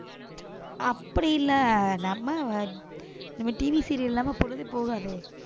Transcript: அப்படி இல்ல, நம்ம நம்ம TVserial இல்லாம பொழுதே போகாதே